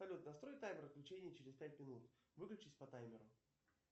салют настрой таймер отключения через пять минут выключись по таймеру